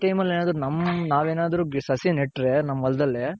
ಈ time ಅಲ್ ಏನಾದ್ರು ನಮ್ಮ ನಾವ್ ಏನಾದ್ರು ಸಸಿ ನೆಟ್ರೆ ನಮ್ ಹೊಲದಲ್ಲಿ.